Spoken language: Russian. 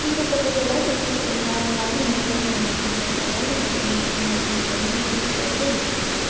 грубо говоря допустим моя мама не ходит в маникюрные салоны потому что зачем я могу это сделать дома